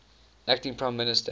acting prime minister